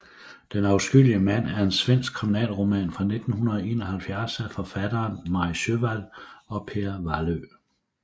Den afskyelige mand er en svensk kriminalroman fra 1971 af forfatterne Maj Sjöwall og Per Wahlöö